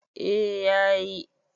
eh ya yi